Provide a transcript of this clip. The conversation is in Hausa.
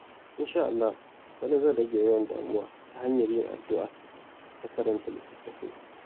Insha Allah, bana zan rage yawan damuwa ta hanyar yin addu’a da karanta littattafai.